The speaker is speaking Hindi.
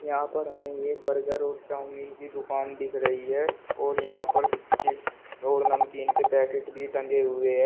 यहां पर हमें यह बर्गर और चाउमिन की दुकान दिख रही है और यहां पर चिप्स और नमकीन के पैकेट भी टंगे हुए है।